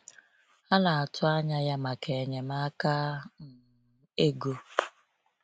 Ha na-atụ anya ya maka enyemaka um ego.